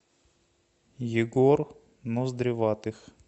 егор ноздреватых